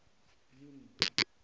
junie